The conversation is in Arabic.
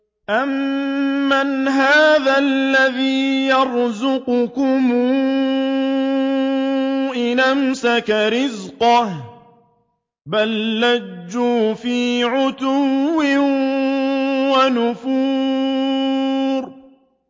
أَمَّنْ هَٰذَا الَّذِي يَرْزُقُكُمْ إِنْ أَمْسَكَ رِزْقَهُ ۚ بَل لَّجُّوا فِي عُتُوٍّ وَنُفُورٍ